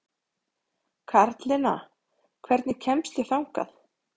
Karlinna, hvernig kemst ég þangað?